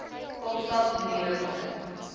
kaapstad maniere begin